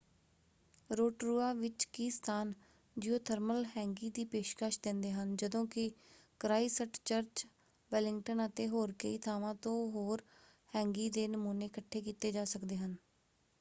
Rotorua ਵਿੱਚ ਕੀ ਸਥਾਨ ਜਿਓਥਰਮਲ ਹੈਂਗੀ ਦੀ ਪੇਸ਼ਕਸ਼ ਦਿੰਦੇ ਹਨ ਜਦੋਂ ਕਿ ਕ੍ਰਾਈਸਟਚਰਚ ਵੈਲਿੰਗਟਨ ਅਤੇ ਹੋਰ ਕਈ ਥਾਵਾਂ ਤੋਂ ਹੋਰ ਹੈਂਗੀ ਦੇ ਨਮੂਨੇ ਇਕੱਠੇ ਕੀਤੇ ਜਾ ਸਕਦੇ ਹਨ।